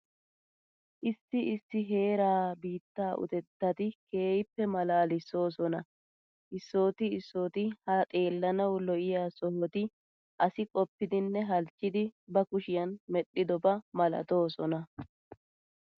Issi issi heeraa biittaa utettati keehippe maalaalissoosona. Issooti issooti ha xeellanawu lo"iya sohoti asi qoppidinne halchchidi ba kushiyan medhdhidoba malatoosona.